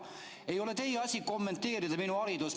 Ei ole teie asi kommenteerida minu haridust.